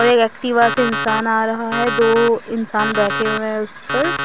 एक एक्टिवा से इंसान आ रहा है दो इंसान बैठे हुए हैं उसे पर।